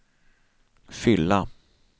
fylla